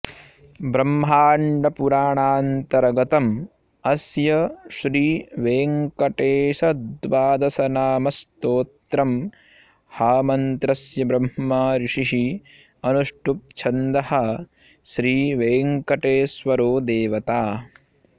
ब्रह्माण्डपुराणान्तर्गतम् अस्य श्रीवेङ्कटेशद्वादशनामस्तोत्रमहामन्त्रस्य ब्रह्मा ऋषिः अनुष्टुप् छन्दः श्रीवेङ्कटेश्वरो देवता